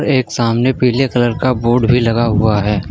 एक सामने पीले कलर का बोर्ड भी लगा हुआ है।